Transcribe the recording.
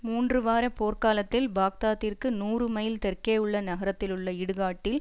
மூன்று வார போர்க் காலத்தில் பாக்தாத்திற்கு நூறு மைல் தெற்கேயுள்ள நகரத்திலுள்ள இடுகாட்டில்